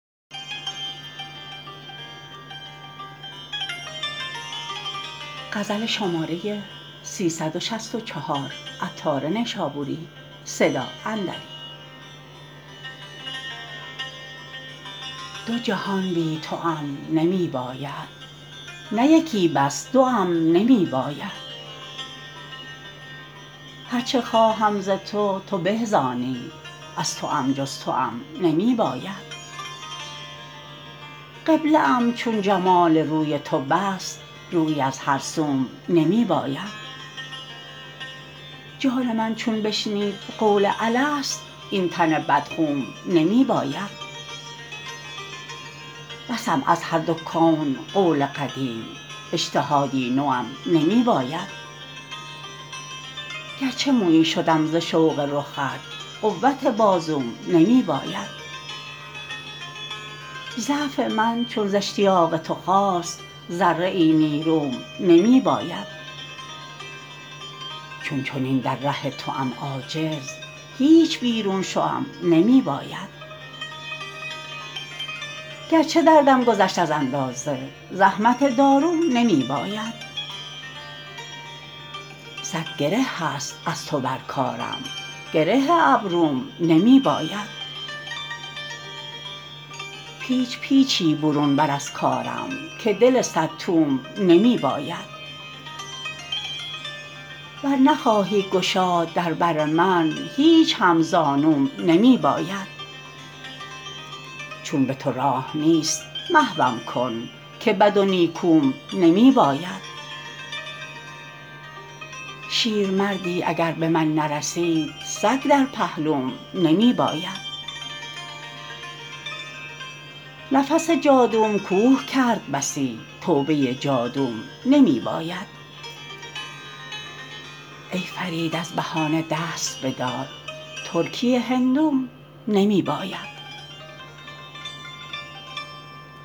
دو جهان بی توام نمی باید نه یکی بس دو ام نمی باید هرچه خواهم ز تو تو به زانی از توام جز توام نمی باید قبله ام چون جمال روی تو بس رویی از هر سوم نمی باید جان من چون شنید قول الست این تن بدخوم نمی باید بسم از هر دو کون قول قدیم اجتهادی نوم نمی باید گرچه مویی شدم ز شوق رخت قوت بازوم نمی باید ضعف من چون ز اشتیاق تو خاست ذره ای نیروم نمی باید چون چنین در ره توام عاجز هیچ بیرون شوم نمی باید گرچه دردم گذشت از اندازه زحمت داروم نمی باید صد گره هست از تو بر کارم گره ابروم نمی باید پیچ پیچی برون بر از کارم که دل صد توم نمی باید ور نخواهی گشاد در بر من هیچ هم زانوم نمی باید چون به تو راه نیست محوم کن که بد و نیکو ام نمی باید شیر مردی اگر به من نرسید سگ در پهلوم نمی باید نفس جادوم کوه کند بسی توبه جادوم نمی باید ای فرید از بهانه دست بدار ترکی هندوم نمی باید